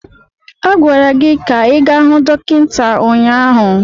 A gwara gị ka ị gaa hụ dọkịta anya!